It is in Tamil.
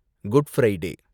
good Friday